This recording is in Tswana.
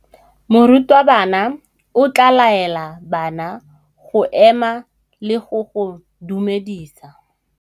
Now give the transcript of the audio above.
Morutabana o tla laela bana go ema le go go dumedisa.